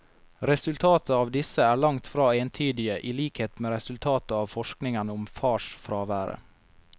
Resultatet av disse er langt fra entydige i likhet med resultatet av forskningen om farsfraværet.